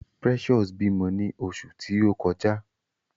Precious bímọ ni oṣù ti o kọjá.